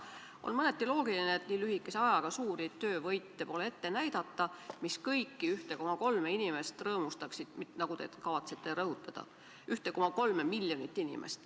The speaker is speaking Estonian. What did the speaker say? On mõneti loogiline, et nii lühikese ajaga pole ette näidata suuri töövõite, mis kõiki 1,3 miljonit inimest rõõmustaksid, nagu te kavatsete rõhutada.